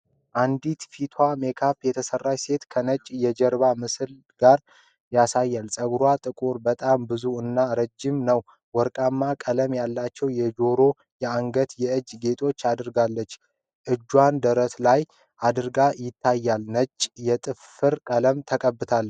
አንዲት ፊቷን ሜካፕ የተሰራች ሴት ከነጭ የጀርባ ምስል ጋር ያሳያል፤ ፀጉሯ ጥቁር፣ በጣም ብዙ እና ረጅም ነው፤ ወርቃማ ቀለም ያላቸው የጆሮ፣ የአንገትና የእጅ ጌጦችን አድርጋለች፤ እጇን ደረቷ ላይ አድርጋ ይታያል፤ ነጭ የጥፍር ቀለም ተቀብታለች።